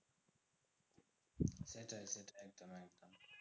সেটাই সেটাই একদম একদম।